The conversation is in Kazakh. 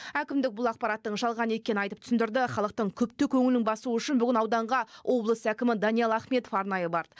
әкімдік бұл ақпараттың жалған екенін айтып түсіндірді халықтың күпті көңілін басу үшін ауданға облыс әкімі даниал ахметов арнайы барды